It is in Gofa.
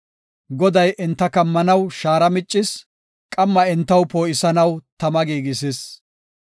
Goday enta kammanaw shaara miccis; qamma entaw poo7isanaw tama giigisis.